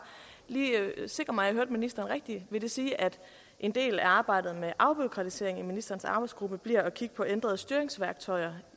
sikre mig at jeg hørte ministeren rigtigt vil det sige at en del af arbejdet med afbureaukratisering i ministerens arbejdsgruppe bliver at kigge på ændrede styringsværktøjer